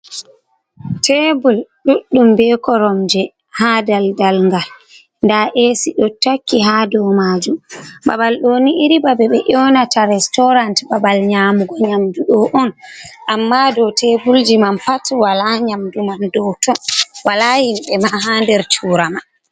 Tebul ɗuɗɗum ɓe korom je ha daldal ngal ,ɗa Ac ɗo takki ha ɗou majum ,ɓaɓal ɗoni iri ɓaɓe ɓe yewnata restaurant ɓaɓal nyamugo nyamɗu ɗo on, amma ɗou tebulji man pat wala nyamɗu man ɗo ton wala himbe ma ha der chura man.